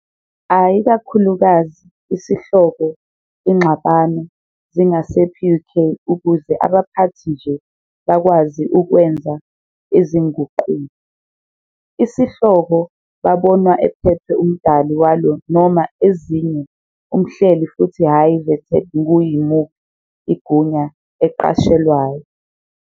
A ikakhulukazi Isihloko ingxabano zingase PUK ukuze abaphathi nje ziyakwazi ukwenza izinguquko. sihloko babonwa ephethwe uMdali walo noma ezinye umhleli futhi hhayi vetted ngu yimuphi igunya eqashelwayo.